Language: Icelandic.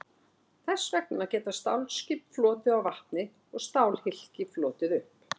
Þess vegna geta stálskip flotið á vatni og stálhylki flotið upp.